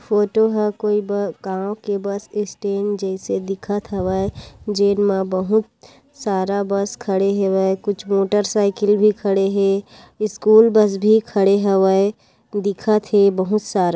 photo ह कोई गांव के बस स्टैंड जैसे दिखत हवय जेमा बहुत सारा बस खड़े हेवय कुछ मोटरसाइकिल भी खड़े हे स्कूल बस भी खड़े हेवय बहुत सारा --